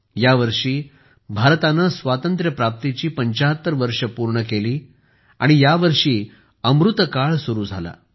या वर्षी भारताने स्वातंत्र्य प्राप्तीची 75 वर्षे पूर्ण केली आणि या वर्षी अमृतकाळ सुरू झाला